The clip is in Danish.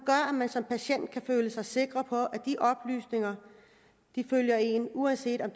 at man som patient kan føle sig sikker på at de oplysninger følger en uanset om